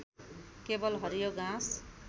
केवल हरियो घाँस